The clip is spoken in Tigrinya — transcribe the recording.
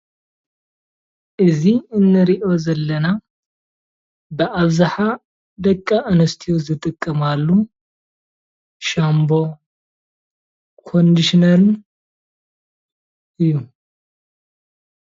እዚ እንሪኦ ዘለና ብአብዛሓ ደቂ አንስትዩ ዝጥቀማሉ ሻምቦን ኮንደሽነርን እዩ፡፡